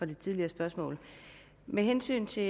det tidligere spørgsmål med hensyn til